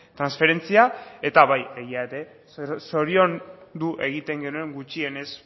transferentzia eta bai egia ere zoriondu egiten genuen gutxienez